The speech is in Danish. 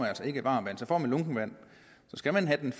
altså ikke varmt vand så får man lunkent vand skal man have